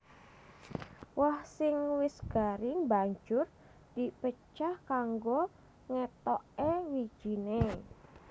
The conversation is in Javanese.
Woh sing wis garing banjur di pecah kanggo ngetokké wijiné